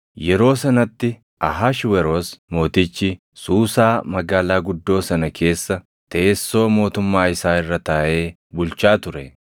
yeroo sanatti Ahashweroos Mootichi, Suusaa magaalaa guddoo sana keessa teessoo mootummaa isaa irra taaʼee bulchaa ture;